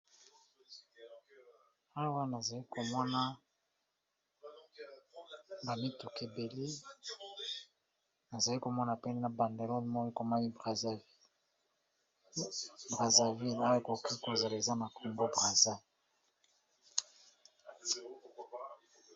Awa nazali komona bamitukebele nazali komona pe na banderole moko ekomami brazzaville awa ekoki kozala eza na congo brazza